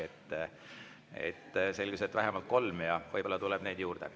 Selgus, et on vähemalt kolm, ja võib-olla tuleb neid juurde.